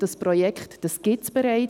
Dieses Projekt gibt es bereits.